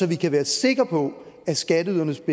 vi kan være sikker på at skatteydernes